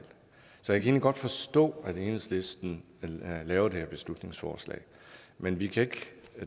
så jeg kan egentlig godt forstå at enhedslisten har lavet det her beslutningsforslag men vi kan